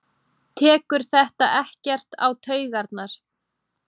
Tekur þetta ekkert á taugarnar?